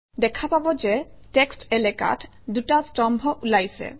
দেখা পাব যে টেক্সট্ এলেকাত দুটা স্তম্ভ ওলাইছে